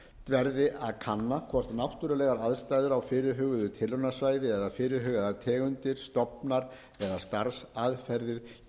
verði að kanna hvort náttúrulegar aðstæður á fyrirhuguðu tilraunasvæði eða eða fyrirhugaðar tegundir stofnar eða starfsaðferðir